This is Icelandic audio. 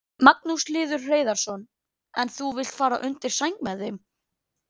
Á þessum tveimur boðorðum hvílir allt lögmálið og spámennirnir.